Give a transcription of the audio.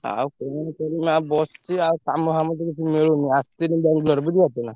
ଆଉ କଣ କରିବି ଆଉ ~ବସ ~ଚି ଆଉ କାମ ଫାମ ତ କିଛି ମିଳୁନି। ~ଆସ ~ଥିଲି ବାଙ୍ଗଲୋର ବୁଝିପାରୁଛ ନା?